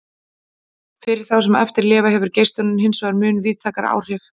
Fyrir þá sem eftir lifa hefur geislunin hinsvegar mun víðtækari áhrif.